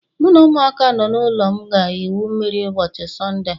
Mụ na ụmụaka nọ n'ụlọ m ga-egwu mmiri ụbọchị Sọnde a